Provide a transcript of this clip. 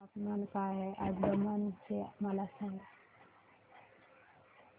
तापमान काय आहे आज दमण चे मला सांगा